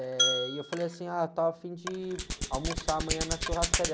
Eh, e eu falei assim, ah, eu estava afim de almoçar amanhã na churrascaria.